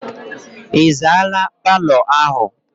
Ị zaala paalọ ahụ?